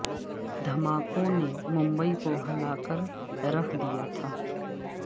دھماکوں نے ممبئی کو ہلا کے رکھ دیا تھا